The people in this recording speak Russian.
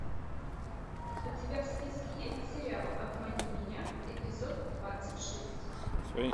у тебя в списке есть сериал обмани меня эпизод двадцать шесть